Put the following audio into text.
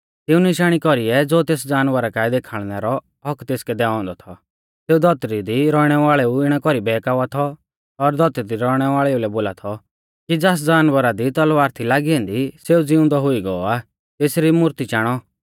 तिऊं निशाणी कौरीऐ ज़ो तेस जानवरा काऐ देखाल़णै रौ हक्क तेसकै दैऔ औन्दौ थौ सेऊ धौतरी दी रौइणै वाल़ेऊ इणै कौरी बहकावा थौ और धौतरी दी रौइणै वाल़ेऊ लै बोला थौ कि ज़ास जानवरा दी तलवार थी लागी ऐन्दी सेऊ ज़िउंदौ हुई गौ आ तेसरी मूर्ती चाणौ